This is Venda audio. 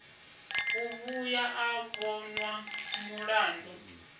u vhuya a vhonwa mulandu